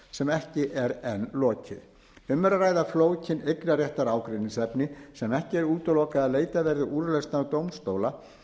sem ekki er enn lokið um er að ræða flókin eignarréttarleg ágreiningsefni sem ekki er útilokað að leitað verði úrlausnar dómstóla